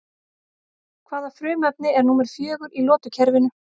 Hvaða frumefni er númer fjögur í lotukerfinu?